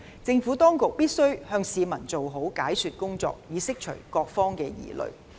政府當局必須向市民做好解說工作，以釋除各方的疑慮。